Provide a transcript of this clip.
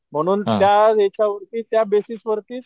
म्हणून त्या ह्याच्यावरती त्या बेसिस वरतीच,